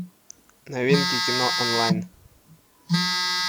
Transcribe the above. новинки кино онлайн